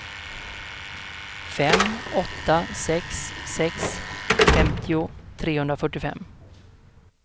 fem åtta sex sex femtio trehundrafyrtiofem